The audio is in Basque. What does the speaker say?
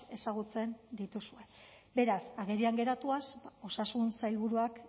ezagutzen dituzue beraz agerian geratuaz osasun sailburuak